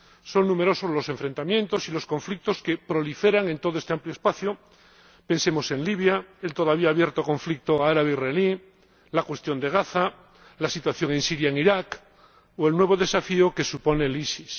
Son numerosos los enfrentamientos y los conflictos que proliferan en todo este amplio espacio pensemos en Libia, en el todavía abierto conflicto árabe israelí, la cuestión de Gaza, la situación en Siria e Irak o el nuevo desafío que supone el EIIL.